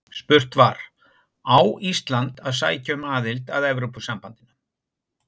Spurt var: Á Ísland að sækja um aðild að Evrópusambandinu?